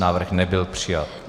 Návrh nebyl přijat.